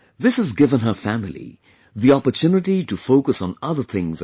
This has given her family the opportunity to focus on other things as well